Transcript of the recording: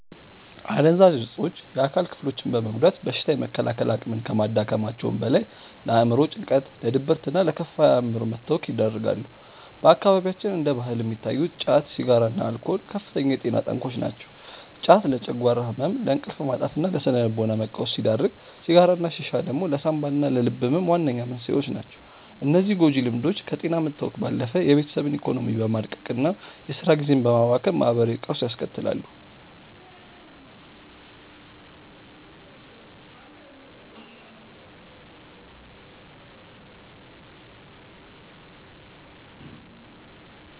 አደንዛዥ እፆች የአካል ክፍሎችን በመጉዳት በሽታ የመከላከል አቅምን ከማዳከማቸውም በላይ፣ ለአእምሮ ጭንቀት፣ ለድብርትና ለከፋ የአእምሮ መታወክ ይዳርጋሉ። በአካባቢያችን እንደ ባህል የሚታዩት ጫት፣ ሲጋራና አልኮል ከፍተኛ የጤና ጠንቆች ናቸው። ጫት ለጨጓራ ህመም፣ ለእንቅልፍ ማጣትና ለስነ-ልቦና መቃወስ ሲዳርግ፣ ሲጋራና ሺሻ ደግሞ ለሳንባና ለልብ ህመም ዋነኛ መንስኤዎች ናቸው። እነዚህ ጎጂ ልምዶች ከጤና መታወክ ባለፈ የቤተሰብን ኢኮኖሚ በማድቀቅና የስራ ጊዜን በማባከን ማህበራዊ ቀውስ ያስከትላሉ።